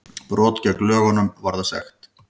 Brot gegn lögunum varða sektum